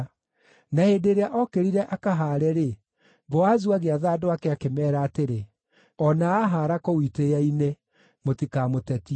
Na hĩndĩ ĩrĩa ookĩrire akahaare-rĩ, Boazu agĩatha andũ ake akĩmeera atĩrĩ, “O na ahaara kũu itĩĩa-inĩ, mũtikamũtetie.